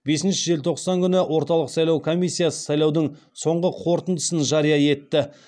бесіншіші желтоқсан күні орталық сайлау комиссиясы сайлаудың соңғы қорытындысын жария етті